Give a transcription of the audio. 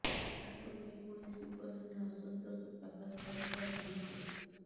ଯାହାକୁ ନେଇ ପୁଣି ଶିବସେନା ଅସନ୍ତୋଷ ପ୍ରକାଶ କରିଥିବା ଜଣାପଡ଼ିଛି